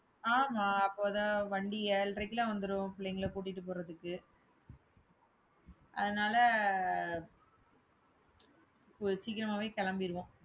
ஆமா, அப்போதான் வண்டி ஏழரைக்கெல்லாம் வந்துரும் பிள்ளைங்களை கூட்டிட்டு போறதுக்கு. அதனால கொஞ்சம் சீக்கிரமாவே கிளம்பிருவோம்